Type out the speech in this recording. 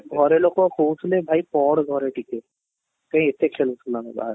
ଘରେ ଲୋକ କହୁଥିଲେ ଭାଇ ପଢ଼ ଘରେ ଟିକେ ସେଇ ଏଇ ଅତେ ଖେଳୁଥିଲୁ ଆମେ ବାହାରେ